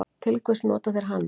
Til hvers nota þeir hana?